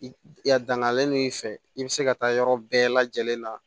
Ya dangalen don i fɛ i bɛ se ka taa yɔrɔ bɛɛ lajɛlen na